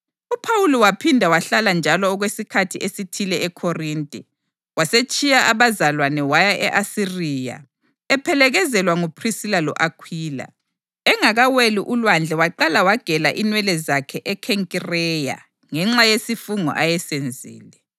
UPhawuli waphinda wahlala njalo okwesikhathi esithile eKhorinte. Wasetshiya abazalwane waya e-Asiriya, ephelekezelwa nguPhrisila lo-Akhwila. Engakaweli ulwandle waqala wagela inwele zakhe eKhenkireya ngenxa yesifungo ayesenzile.